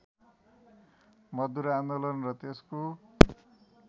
मजदुर आन्दोलन र त्यसको